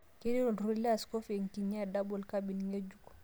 Keiteru olturur le askofu ekinyang'a edouble cabin ng'ejuk